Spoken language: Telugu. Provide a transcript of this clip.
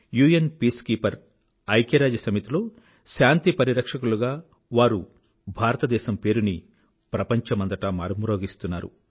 యుఎన్ పీసుకీపర్ ఐక్యరాజ్యసమితిలో శాంతి పరిపక్షకులుగా వారు భారతదేశం పేరుని ప్రపంచమంతటా మారుమ్రోగిస్తున్నారు